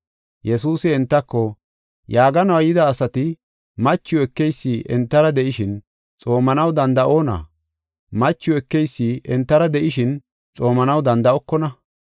Yesuusi entako, “Yaaganuwa yida asati machiw ekeysi entara de7ishin, xoomanaw danda7onna? Machiw ekeysi entara de7ishin, xoomanaw danda7okona.